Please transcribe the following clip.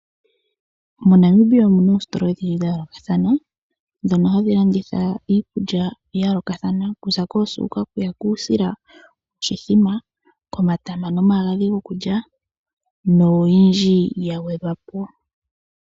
MoNamibia omuna oositola odhindji dhayoolokathana ndhono hadhi landitha iikulya yayoolokathana okuza koosuuka, kuusila, omatama nomagadhi nayilwe.